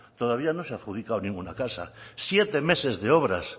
todavía no se ha adjudicado ninguna casa siete meses de obras